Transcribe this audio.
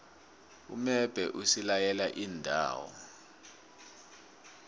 umbebhe usilaye iindawo